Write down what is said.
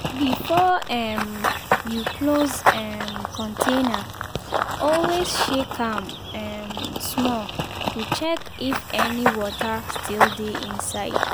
before um you close um container always shake am um small to check if any water still dey inside.